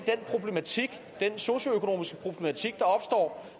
den socioøkonomiske problematik